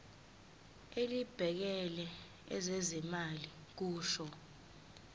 elibhekele ezezimali kusho